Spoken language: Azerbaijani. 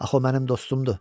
Axı o mənim dostumdur,